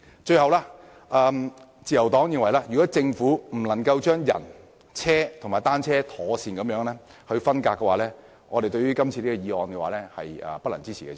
最後，代理主席，自由黨認為如政府無法把人、車和單車妥善分隔，對於今次的議案，我們是不能支持的。